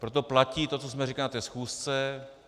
Proto platí to, co jsme říkali na té schůzce.